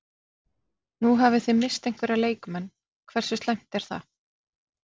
Nú hafi þið misst einhverja leikmenn, hversu slæmt er það?